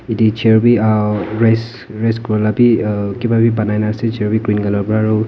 yatae chair bi rest rest kurala bi kipa bi banai na ase chair bi green colour .